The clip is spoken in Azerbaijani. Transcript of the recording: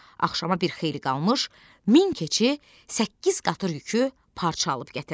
Axşama bir xeyli qalmış, min keçi səkkiz qatır yükü parça alıb gətirdi.